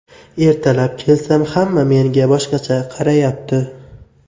Ertalab kelsam, hamma menga boshqacha qarayapti.